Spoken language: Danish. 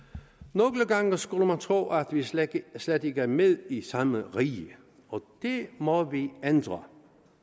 nogle gange skulle man tro at vi slet slet ikke er med i samme rige og det må vi ændre